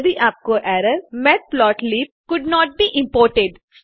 यदि आपको ERROR matplotlib could not be imported